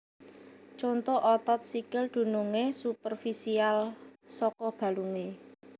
Conto Otot sikil dunungé superfisial saka balungé